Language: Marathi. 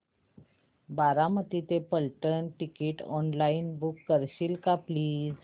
बारामती ते फलटण टिकीट ऑनलाइन बुक करशील का प्लीज